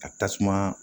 Ka tasuma